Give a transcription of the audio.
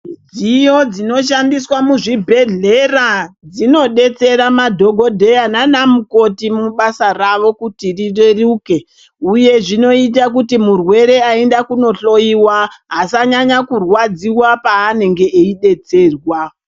Midziyo dzinoshandiswa muzvibhedhlera, dzinodetsera madhogodheya naanamukoti mubasa ravo kuti rireruke, uye zvinoita kuti murwere aenda kunohloiwa, asanyanya kurwadziwa paanenge veidetserwa.